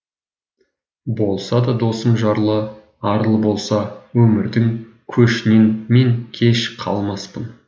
болса да досым жарлы арлы болса өмірдің көшінен мен кеш қалмаспын